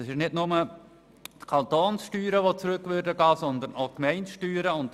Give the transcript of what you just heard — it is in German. Nicht nur die Kantonssteuern würden zurückgehen, sondern auch die Gemeindesteuern.